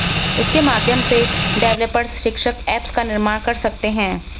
इसके माध्यम से डेवेलपर्स शैक्षिक एप्स का निर्माण कर सकते हैं